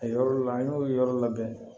A yɔrɔ laban n y'o yɔrɔ labɛn